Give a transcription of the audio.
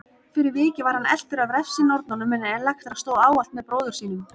Fyrir vikið var hann eltur af refsinornunum en Elektra stóð ávallt með bróður sínum.